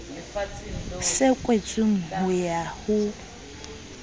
se kwetsweng ho ya ho